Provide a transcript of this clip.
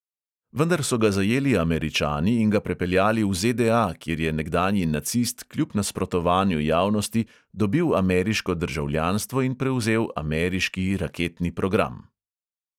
Vendar so ga zajeli američani in ga prepeljali v ZDA, kjer je nekdanji nacist kljub nasprotovanju javnosti dobil ameriško državljanstvo in prevzel ameriški raketni program.